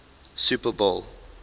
super bowl